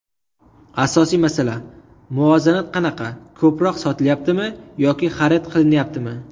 Asosiy masala: muvozanat qanaqa, ko‘proq sotilayaptimi yoki xarid qilinayaptimi?